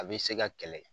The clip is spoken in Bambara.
A bɛ se ka kɛlɛ